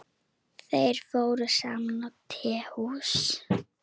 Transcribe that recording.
Þeir fóru saman á tehús.